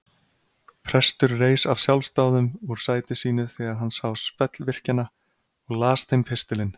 Prestur reis af sjálfsdáðum úr sæti sínu þegar hann sá spellvirkjana og las þeim pistilinn.